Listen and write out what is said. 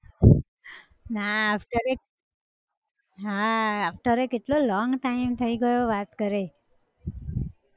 ના આહ સ તો રે હા આ આહ સ તો રે કેટલો long time થઇ ગયો વાત કરે